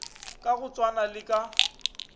ka go tshwana le ka